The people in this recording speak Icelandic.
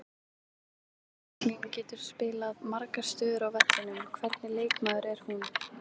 Helga Franklín getur spilað margar stöður á vellinum, hvernig leikmaður er hún?